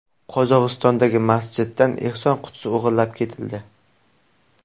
Qozog‘istondagi masjiddan ehson qutisi o‘g‘irlab ketildi.